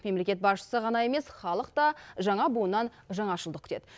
мемлекет басшысы ғана емес халық та жаңа буыннан жаңашылдық күтеді